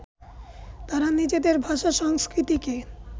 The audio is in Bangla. তারা নিজেদের ভাষা, সংস্কৃতিকে